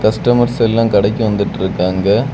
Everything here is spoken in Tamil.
கஸ்டமர்ஸ் எல்லா கடைக்கு வந்துட்ருக்காங்க.